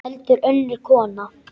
Heldur önnur kona.